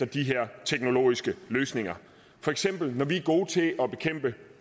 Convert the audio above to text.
de her teknologiske løsninger for eksempel er vi gode til at bekæmpe